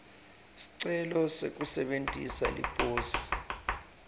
sicelo sekusebentisa liposi